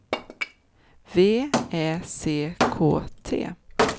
V Ä C K T